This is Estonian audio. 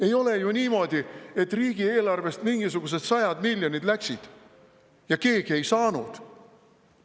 Ei ole ju niimoodi, et riigieelarvest mingisugused sajad miljonid läksid välja ja keegi neid ei saanud.